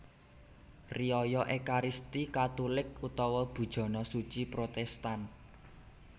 Riyaya Ékaristi Katulik utawa Bujana Suci Protèstan